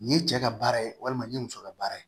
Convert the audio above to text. Nin ye cɛ ka baara ye walima nin ye muso ka baara ye